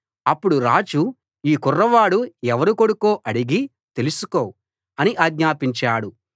అప్పుడు రాజు ఈ కుర్రవాడు ఎవరి కొడుకో అడిగి తెలుసుకో అని ఆజ్ఞాపించాడు